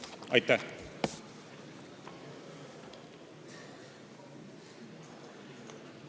Aitäh!